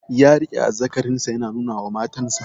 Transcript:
Ya riƙe azzakarin sa yana nuna wa matan sa